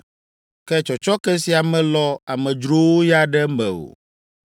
Ke tsɔtsɔke sia melɔ amedzrowo ya ɖe eme o.